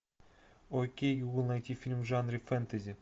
окей гугл найти фильм в жанре фэнтези